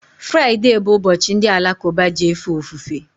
Friday bụ ụbọchị ndi alakuba ji efe ofufe